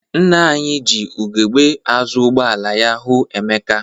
Nna anyị ji ugegbe azụ ụgbọala ya hụ Emeka.